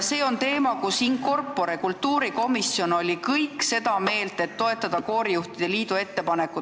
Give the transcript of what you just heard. See on teema, mille puhul kultuurikomisjon in corpore oli seda meelt, et tuleb toetada koorijuhtide liidu ettepanekut.